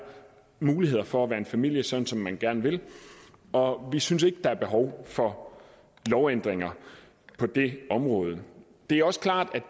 muligheder for at være en familie sådan som man gerne vil og vi synes ikke at der er behov for lovændringer på det område det er også klart at